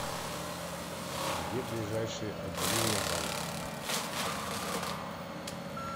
где ближайшие отделения банков